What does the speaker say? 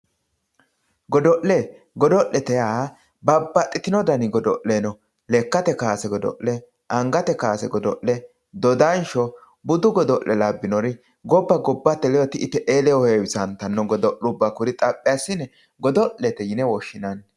godo'le godo'le yaa babbaxxitino dani godo'le no lekkate kaase godo'le angate kaase godo'le dodansho budu godo'le labbinori gobba gobbate ledo ti'i te'ee ledo heewisantanno godo'lubba kuri xaphi assine godo'lete yine woshshinanni.